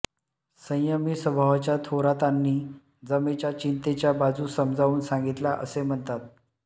संयमी स्वभावाच्या थोरातांनी जमेच्या चिंतेच्या बाजू समजावून सांगितल्या असे म्हणतात